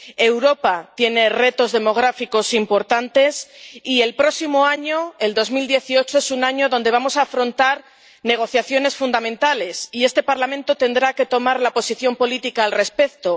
Europa tiene retos demográficos importantes y el próximo año, el 2018, es un año donde vamos a afrontar negociaciones fundamentales, y este Parlamento tendrá que tomar una posición política al respecto.